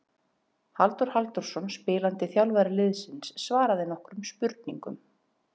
Halldór Halldórsson spilandi þjálfari liðsins svaraði nokkrum spurningum.